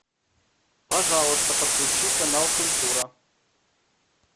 пожалуйста подключи канал культура